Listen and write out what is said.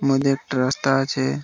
মধ্যে একটা রাস্তা আছে ।